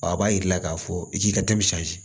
A b'a jira i la k'a fɔ i k'i ka